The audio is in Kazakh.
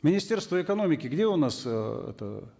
министерство экономики где у нас э это